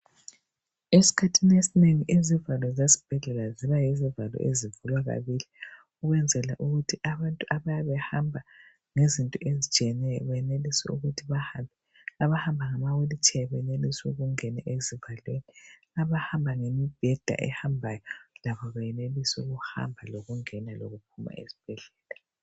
Esikhathini esinengi izivalo zezibhedlela zejwayele ukuba ngezivula kabili ukwenzela ukuthi abayabe behamba benelise ukuthi bahambe, abayabe behamba ngamawili tsheya ,abahamba ngemibheda labo benelise ukuhamba, ukungena lokuphuma esibhedlela.